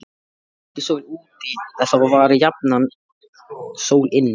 Væri ekki sól úti, þá var jafnan sól inni.